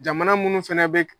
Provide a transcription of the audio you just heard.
Jamana munnu fɛnɛ bɛ k